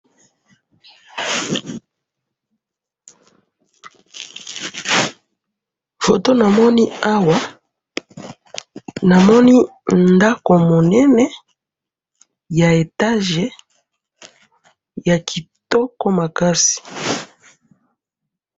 photo namoni awa namoni ndaku munene ya etage ya kitoko makasi